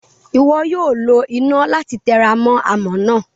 Iwọ yoo lo ina lati teramo amọ naa.